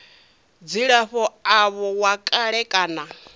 dzilafho avho wa kale kana